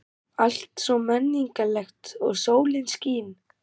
Allt svo menningarlegt og sólin skín.